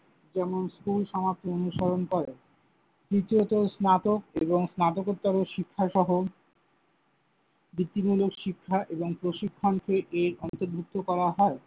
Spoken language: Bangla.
যেমন, স্কুল সমাপ্তি অনুসরণ করে। তৃতীয়ত, স্নাতক এবং স্নাতকোত্তর শিক্ষাসহ বৃত্তিমূলক শিক্ষা এবং প্রশিক্ষণকে এর অন্তর্ভুক্ত করা হয়।